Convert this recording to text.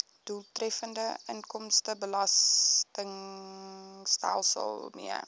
doeltreffende inkomstebelastingstelsel mee